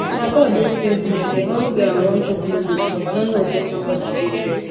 na god wey save me i dey hungry and wan cook noodles but i no know say somebody dey there